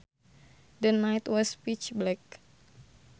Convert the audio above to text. The night was pitch black